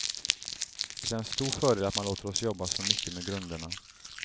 Det är en stor fördel att man låter oss jobba så mycket med grunderna.